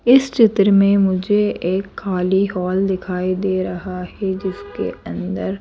इस चित्र में मुझे एक खाली हॉल दिखाई दे रहा है जिसके अंदर--